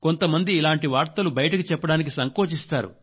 కొంతమంది ఇలాంటి వార్తలు బయటకు చెప్పాడానికి సంకోచిస్తారు